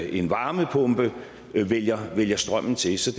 en varmepumpe vælger vælger strømmen til så